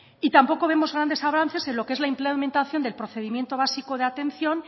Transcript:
y tampoco vemos grandes avances en lo que es la implementación del procedimiento básico de atención